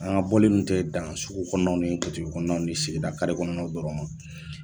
An ka bɔli kun te dansugu kɔnɔnaw ni butigi kɔnɔnaw ni segida kare kɔnɔnaw dɔrɔn ma